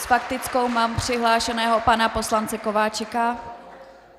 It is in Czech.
S faktickou mám přihlášeného pana poslance Kováčika.